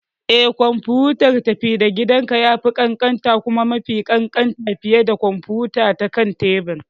Eh, kwamfutar tafi-da-gidanka ya fi ƙanƙanta kuma mafi ƙanƙanta fiye da kwamfuta ta kan tebur.